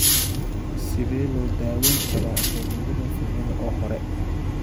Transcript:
Sidee loo daweyn karaa alopecia fibrosing ee hore?